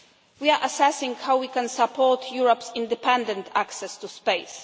We are assessing how we can support Europe's independent access to